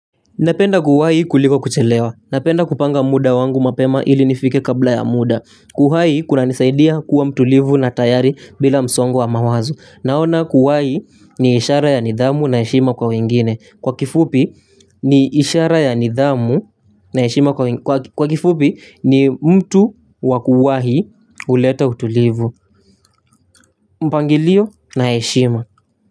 Napenda kuwahi kuliko kuchelewa. Napenda kupanga muda wangu mapema ili nifike kabla ya muda. Kuwahi kuna nisaidia kuwa mtulivu na tayari bila msongo wa mawazo. Naona kuwahi ni ishara ya nidhamu na heshima kwa wengine. Kwa kifupi ni ishara ya nidhamu na heshima kwa wengine. Kwa kifupi ni mtu wa kuwahi huleta utulivu. Mpangilio na eshima.